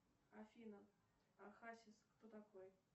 афина а хасис кто такой